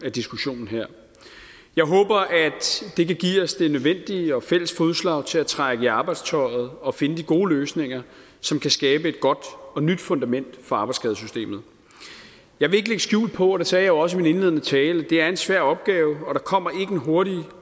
af diskussionen her jeg håber at det kan give os det nødvendige og fælles fodslag til at trække i arbejdstøjet og finde de gode løsninger som kan skabe et godt og nyt fundament for arbejdsskadesystemet jeg vil ikke lægge skjul på og det sagde jeg også i min indledende tale at det er en svær opgave og der kommer en hurtig